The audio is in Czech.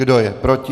Kdo je proti?